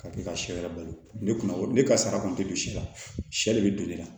Ka kɛ ka sɛ yɛrɛ balo ne kun ne ka sara kɔni tɛ don si la sɛ de bɛ don ne la